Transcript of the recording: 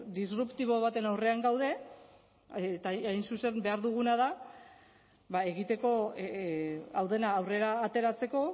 disruptibo baten aurrean gaude eta hain zuzen behar duguna da egiteko hau dena aurrera ateratzeko